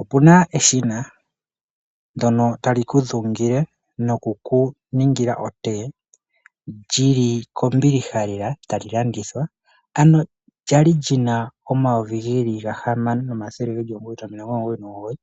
Opuna eshina ndyono tali ku dhungile noku kuningila okothiwa lyili kombiliha lela tali landithwa ano lyali yina omayovi geli gahamano nomathele geli omugoyi nomilongo omugoyi nomugoyi